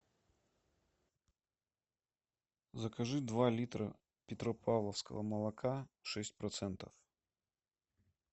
закажи два литра петропавловского молока шесть процентов